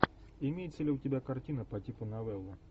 имеется ли у тебя картина по типу новелла